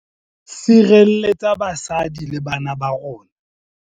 Sirelletsa basadi le bana ba rona